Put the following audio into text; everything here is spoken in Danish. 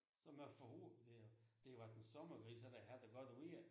Så man får håb at det har det har været en sommergris så den havde det godt vejr